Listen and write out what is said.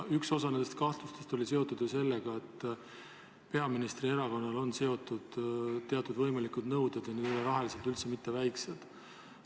Üks osa nendest kahtlustest on seotud sellega, et peaministri erakonnal on üleval teatud võimalikud nõuded ja need ei ole rahaliselt üldse mitte väikesed.